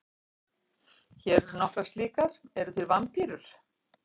Hér eru nokkrar slíkar: Eru til vampírur?